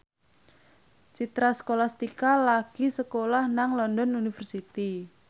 Citra Scholastika lagi sekolah nang London University